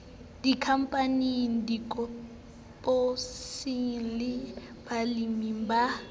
dikhampaning dikoporasing le baleming ba